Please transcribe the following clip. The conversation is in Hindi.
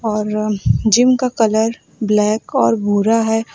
और जिम का कलर ब्लैक और भूरा है।